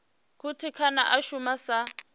khothe kana a shuma sa